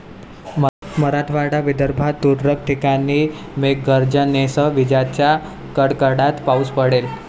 मराठवाडा, विदर्भात तुरळक ठिकाणी मेघगर्जनेसह विजांच्या कडकडाटात पाऊस पडेल.